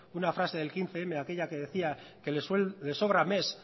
una frase del quince mil aquella que decía que le sobra mes